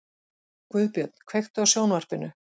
Guðbjörn, kveiktu á sjónvarpinu.